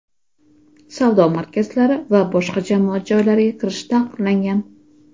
savdo markazlari va boshqa jamoat joylariga kirish taqiqlangan.